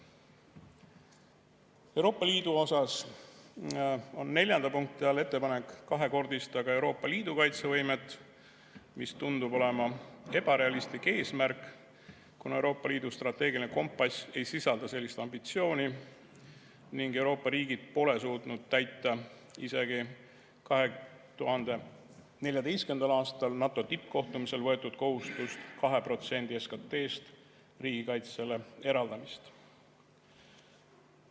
Euroopa Liidu osas on neljanda punkti all ettepanek kahekordistada ka Euroopa Liidu kaitsevõimet, mis tundub olevat ebarealistlik eesmärk, kuna Euroopa Liidu strateegiline kompass ei sisalda sellist ambitsiooni ning Euroopa riigid pole suutnud täita isegi 2014. aastal NATO tippkohtumisel võetud kohustust 2% SKT‑st riigikaitsele eraldada.